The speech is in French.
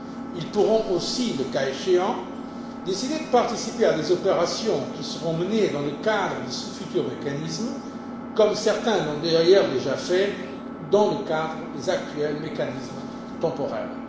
Ils pourront aussi, le cas échéant, décider de participer à des opérations qui seront menées dans le cadre de ce futur mécanisme, comme certains l'ont déjà fait dans le cadre des actuels mécanismes temporaires.